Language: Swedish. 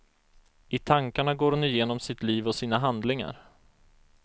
I tankarna går hon igenom sitt liv och sina handlingar.